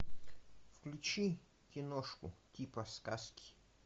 включи киношку типа сказки